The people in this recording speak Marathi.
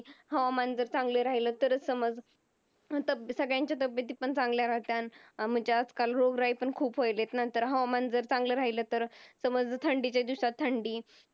हवामान जर चांगलं राहिलं तरच समज सगळ्यांच्या तब्येती पण चांगल्या राहतात. म्हणजे आजकाल रोगराई पण खूप व्हायला लागली आहे ना. हवामान जर चांगलं राहिलं तर म्हणजे समज थंडीच्या दिवसात थंडी